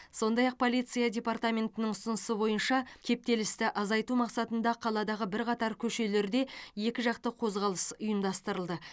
сондай ақ полиция департаментінің ұсынысы бойынша кептелісті азайту мақсатында қаладағы бірқатар көшелерде екіжақты қозғалыс ұйымдастырылды